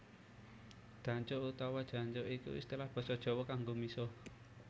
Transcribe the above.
Dancuk utawa Jancuk iku istilah basa Jawa kanggo misuh